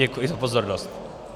Děkuji za pozornost.